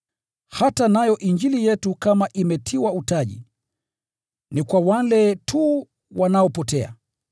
Hata nayo Injili yetu kama imetiwa utaji, ni kwa wale tu wanaopotea.